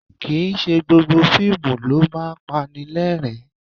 Kì í ṣe gbogbo fíìmù ló máa ń pani lẹ́rìn-ín